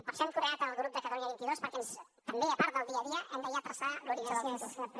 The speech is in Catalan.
per això hem creat el grup de catalunya vint dos perquè també a part del dia a dia hem de ja traçar l’horitzó del futur